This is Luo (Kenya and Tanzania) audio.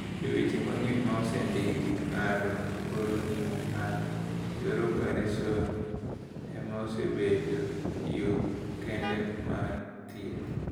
"E weche mang’eny ma osendiki, ng’ado (golo) ng’ut ng’ato e yor opereson ema osebedo yo kende mar thieth."